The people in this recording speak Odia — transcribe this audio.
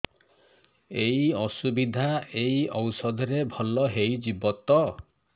ଏଇ ଅସୁବିଧା ଏଇ ଔଷଧ ରେ ଭଲ ହେଇଯିବ ତ